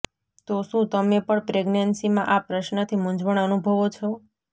તો શું તમે પણ પ્રેગ્નેન્સીમાં આ પ્રશ્નથી મૂંઝવણ અનુભવો છો